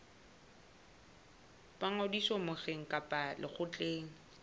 ba ngodiso mokgeng kapa lekgotleng